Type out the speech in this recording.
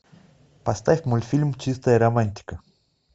поставь мультфильм чистая романтика